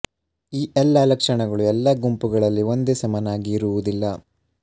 ಈ ಎಲ್ಲ ಲಕ್ಷಣಗಳು ಎಲ್ಲ ಗುಂಪುಗಳಲ್ಲಿ ಒಂದೇ ಸಮನಾಗಿ ಇರುವುದಿಲ್ಲ